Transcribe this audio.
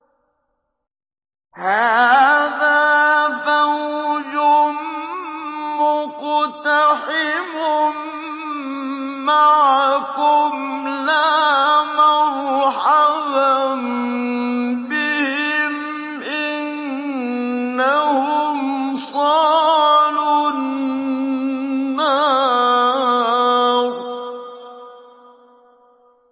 هَٰذَا فَوْجٌ مُّقْتَحِمٌ مَّعَكُمْ ۖ لَا مَرْحَبًا بِهِمْ ۚ إِنَّهُمْ صَالُو النَّارِ